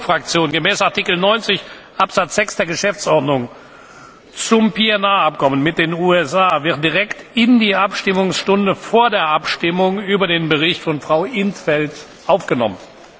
der GUE Fraktion gemäß Artikel 90 Absatz 6 Geschäftsordnung zum PNR Abkommen mit den USA wird direkt in die Abstimmungsstunde vor der Abstimmung über den Bericht von Frau in't Veld aufgenommen.